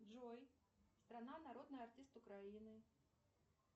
джой страна народный артист украины